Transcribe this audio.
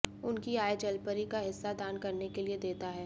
उनकी आय जलपरी का हिस्सा दान करने के लिए देता है